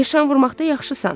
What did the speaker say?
Nişan vurmaqda yaxşısan.